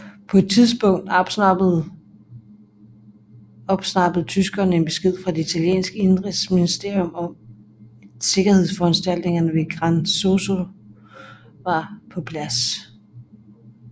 På et tidspunkt opsnappede tyskerne en besked fra det italienske inderigsministerium om at sikkerhedsforanstaltningerne ved Gran Sasso var på plads